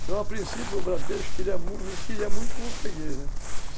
Então, a princípio, o Bradesco queria muito, me queria muito como o Fraguês, né?